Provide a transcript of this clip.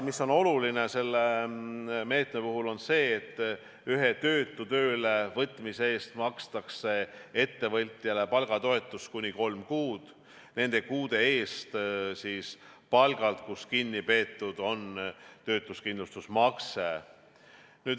Oluline selle meetme puhul on see, et ühe töötu töölevõtmise eest makstakse ettevõtjale palgatoetust kuni kolm kuud, nende kuude eest, kui palgalt on kinni peetud töötuskindlustusmakse.